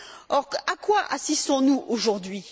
Or, à quoi assistons nous aujourd'hui?